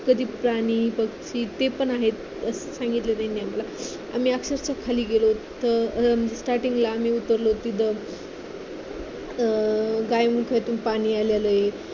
प्राणी पक्षी ते पण आहेत असं त्यांनी सांगितलं आम्हाला आम्ही अक्षरशः खाली गेलोत starting ला उतरलो तिथं गायमुखातून पाणी आलेलं आहे